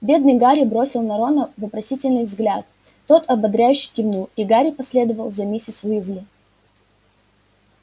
бедный гарри бросил на рона вопросительный взгляд тот ободряюще кивнул и гарри последовал за миссис уизли